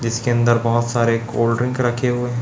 जिसके अंदर बहोत सारे कोल्ड ड्रिंक रखे हुए हैं।